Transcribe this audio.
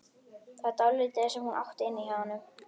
Það var dálítið sem hún átti inni hjá honum.